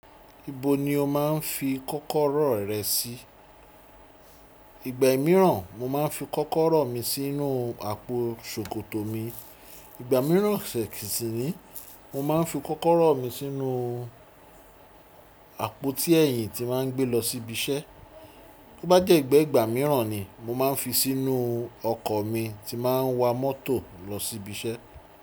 Ibo ni o máa ń fi kọ́kọ́rọ́ rẹ sí? Ìgbà ìmìíràn mo máa n fi kọ́kọ́rọ́ mi sínú àpòo ṣòkòtò mi. Ìgbà mìíràn ṣẹ̀kìn sìn nín, mo máa n fi kọ́kọ́rọ́ mi sínú àpótí ẹ̀yìn ti máa n gbé lọ sí ibi iṣẹ́. Bó bá dẹ̀ gbẹ́ ìgbà mìíràn ni, mo máa ń fi sínú ọkọ̀ mi ti máa ń wa mọ́tò lọ sí ibi iṣẹ́.